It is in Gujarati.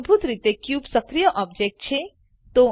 મૂળભૂત રીતે ક્યુબ સક્રીય ઓબજેક્ટ છે